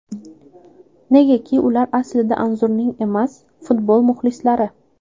Negaki ular aslida Anzurning emas, futbol muxlisalari.